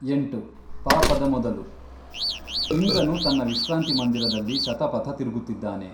ಎಂಟು, ಪಾಪದ ಮೊದಲು ಇಂದ್ರನು ತನ್ನ ವಿಶ್ರಾಂತಿಮಂದಿರದಲ್ಲಿ ಶತಪಥ ತಿರುಗುತ್ತಿದ್ದಾನೆ.